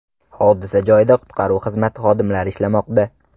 Hodisa joyida qutqaruv xizmati xodimlari ishlamoqda.